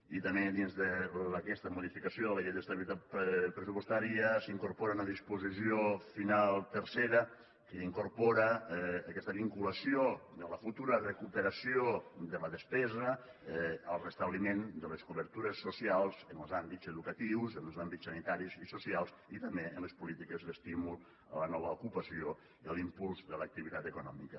i també dins d’aquesta modificació de la llei d’estabilitat pressupostària s’incorpora una disposició final tercera que incorpora aquesta vinculació de la futura recuperació de la despesa al restabliment de les cobertures socials en els àmbits educatius en els àmbits sanitaris i socials i també en les polítiques d’estímul a la nova ocupació i a l’impuls de l’activitat econòmica